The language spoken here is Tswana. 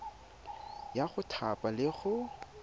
ya go thapa le go